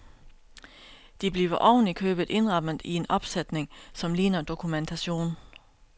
De bliver oven i købet indrammet i en opsætning, som ligner dokumentation.